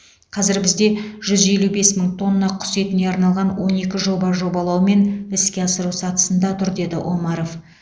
қазір бізде жүз елу бес мың тонна құс етіне арналған он екі жоба жобалау мен іске асыру сатысында тұр деді омаров